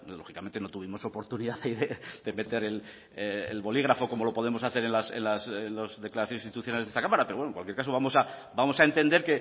lógicamente no tuvimos oportunidad ahí de meter el bolígrafo como lo podemos hacer en las declaraciones institucionales de esta cámara pero bueno en cualquier caso vamos a entender